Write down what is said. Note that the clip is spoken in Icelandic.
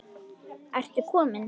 Ertu kominn!